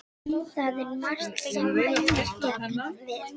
Það er margt sem mælir gegn því.